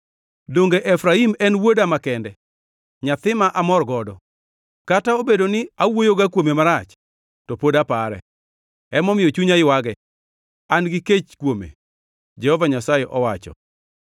Donge Efraim en wuoda makende, nyathi ma amor godo? Kata obedo ni awuoyoga kuome marach, to pod apare. Emomiyo chunya ywage,” an-gi kech kuome, Jehova Nyasaye owacho.